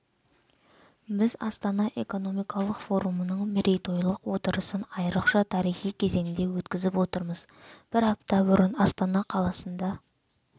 біз астана экономикалық форумының мерейтойлық отырысын айрықша тарихи кезеңде өткізіп отырмыз бір апта бұрын астана қаласында